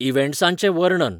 इव्हॅन्ट्सांचे वर्णन